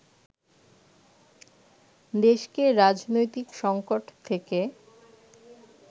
দেশকে রাজনৈতিক সঙ্কট থেকে